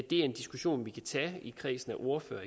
det er en diskussion vi kan tage eksempelvis i kredsen af ordførere